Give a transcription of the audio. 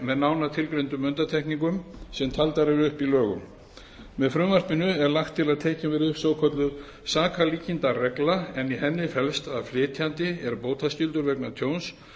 með nánar tilgreindum undantekningum sem taldar eru upp í lögunum með frumvarpinu er lagt til að tekin verði upp svokölluð sakarlíkindaregla en í henni felst að flytjandi er bótaskyldur vegna tjóns